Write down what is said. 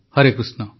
Harekrushna